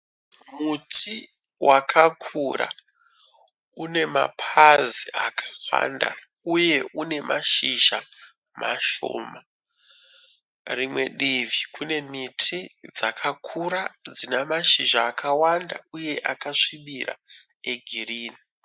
Muti wakakura une mapazi akawanda uye une mashizha mashoma. Rimwe divi kune miti dzakakura dzina mashizha akawanda uye akasvibira egirini.